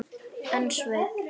En Sveinn